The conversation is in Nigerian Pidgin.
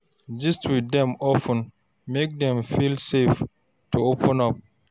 Gist with dem of ten make dem feel safe to open up